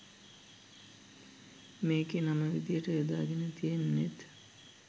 මේකේ නම විදියට යොදාගෙන තියෙන්නෙත්